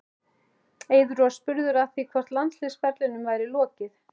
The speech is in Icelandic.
Eiður var spurður að því hvort landsliðsferlinum væri lokið?